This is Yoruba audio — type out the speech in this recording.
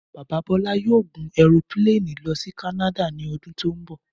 Bàbá Bọlá yóò gùn ẹropíléènì lọ sí Kanada ni ọdún tó ń bọ̀